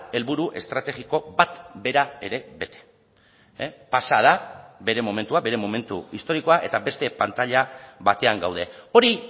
helburu estrategiko bat bera ere bete pasa da bere momentua bere momentu historikoa eta beste pantaila batean gaude hori